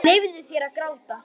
Leyfðu þér að gráta.